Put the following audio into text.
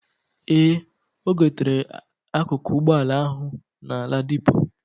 Ee, ogotere akuku ụgbọ ala ahu na Ladipo.